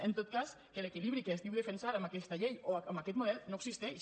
en tot cas que l’equilibri que es diu defensar amb aquesta llei o amb aquest model no existeix